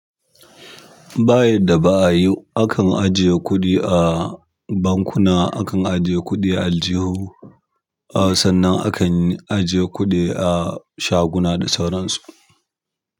Bayadda ba a yi, akan ajiye kuɗi a bankuna, akan ajiye kuɗi aljihu, sannan akan ajiye kuɗi a shaguna da sauransu.